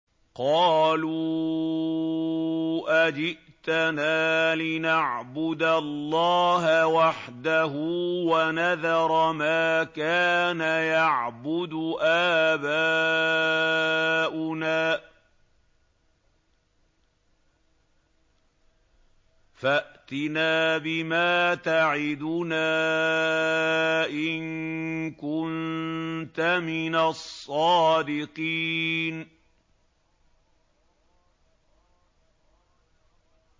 قَالُوا أَجِئْتَنَا لِنَعْبُدَ اللَّهَ وَحْدَهُ وَنَذَرَ مَا كَانَ يَعْبُدُ آبَاؤُنَا ۖ فَأْتِنَا بِمَا تَعِدُنَا إِن كُنتَ مِنَ الصَّادِقِينَ